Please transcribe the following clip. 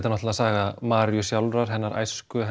náttúrulega saga Maríu sjálfrar hennar æsku